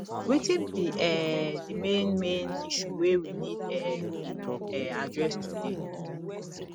wetin be um the main main issue wey we need um to um address today